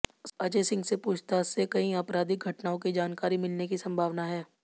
अजय सिंह से पूछताछ से कई आपराधिक घटनाओं की जानकारी मिलने की संभावना है